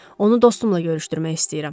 Onu dostumla görüşdürmək istəyirəm.